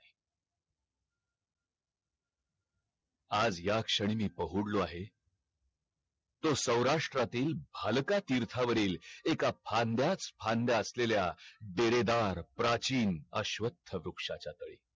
आज याच क्षणी मी पहुडलो आहे तो सौराष्ट्रातील भालाकातीर्थ वरील एका फांद्याच फांद्या असलेल्या डेरेदार प्रचिन अश्वथ वृक्षाचा तळी